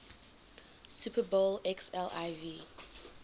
super bowl xliv